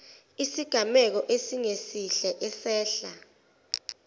isigameko esingesihle esehla